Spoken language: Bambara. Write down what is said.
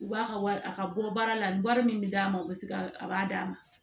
U b'a ka wari a ka bɔ baara la ni wari min bɛ d'a ma u bɛ se ka a b'a d'a ma